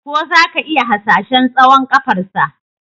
Ko za ka iya hasashen tsawon ƙafarsa?